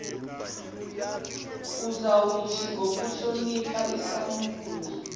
uzawuthi ngokuhlonipha isampula